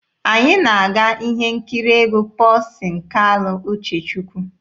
Anyị na-aga ihe nkiri egwu Pọlsin Kalụ Uchechukwu.